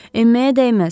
Enməyə dəyməz.